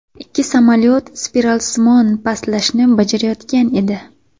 Ikki samolyot spiralsimon pastlashni bajarayotgan edi.